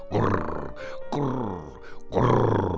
Qur, qur, qur.